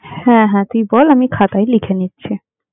হ্যাঁ হ্যাঁ তুই বল আমি খাতায় লিখে নিচ্ছি।